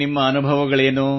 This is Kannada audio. ನಿಮ್ಮ ಅನುಭವಗಳೇನು